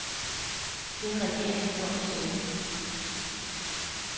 Det har regeringen gjort, siger hun.